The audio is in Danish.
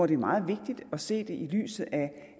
det er meget vigtigt at se det i lyset